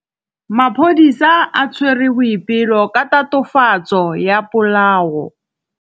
Maphodisa a tshwere Boipelo ka tatofatsô ya polaô.